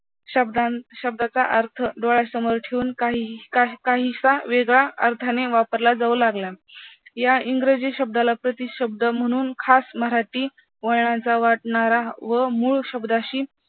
शब्दां शब्दांचा अर्थ डोळ्यासमोर ठेवून काहीच वेगळ्या अर्थाने वापरला जाऊ लागला या इंग्रजी शब्दाला प्रतिशब्द म्हणून खास मराठी वळणाचा वाटणारा व मूळ शब्दाशी